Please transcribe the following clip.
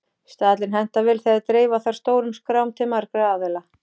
Staðallinn hentar vel þegar dreifa þarf stórum skrám til margra aðila.